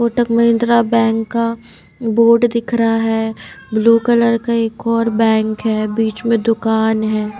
Kotak Mahindra bank का बोर्ड दिख रहा है ब्लू कलर का एक और बैंक है बीच में दुकान है।